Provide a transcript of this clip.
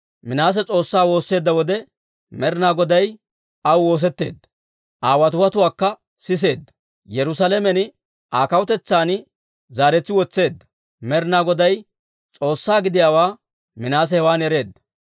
Minaase S'oossaa woosseedda wode, Med'inaa Goday aw woosetteedda; Aa watiwatuwaakka siseedda. Yerusaalamen Aa kawutetsan zaaretsi wotseedda. Med'inaa Goday S'oossaa giddiyaawaa Minaase hewan ereedda.